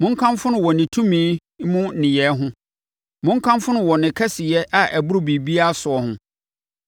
Monkamfo no wɔ ne tumi mu nneyɛɛ ho; monkamfo no wɔ ne kɛseyɛ a ɛboro biribiara soɔ ho.